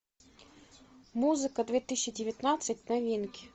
музыка две тысячи девятнадцать новинки